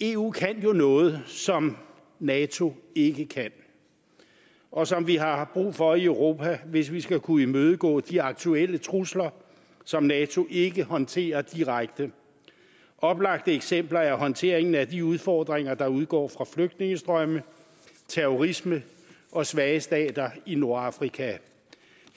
eu kan jo noget som nato ikke kan og som vi har brug for i europa hvis vi skal kunne imødegå de aktuelle trusler som nato ikke håndterer direkte oplagte eksempler er håndteringen af de udfordringer der udgår fra flygtningestrømme terrorisme og svage stater i nordafrika